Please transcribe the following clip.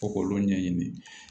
Fo k'olu ɲɛɲini